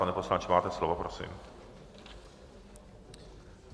Pane poslanče, máte slovo, prosím.